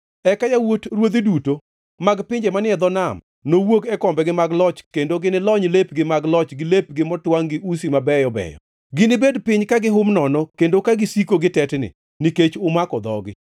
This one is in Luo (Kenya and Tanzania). Eka yawuot ruodhi duto mag pinje manie dho nam nowuog e kombegi mag loch kendo ginilony lepgi mag loch gi lepgi motwangʼ gi usi mabeyo beyo. Ginibed piny ka gihum nono kendo ka gisiko gitetni, nikech umako dhogi.